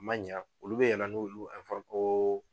Man ɲa olu bɛ yɛlɛn n'olu